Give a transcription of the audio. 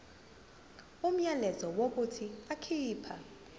umyalelo wokuthi akhipha